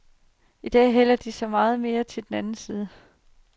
I dag hælder de så meget mere til den anden side.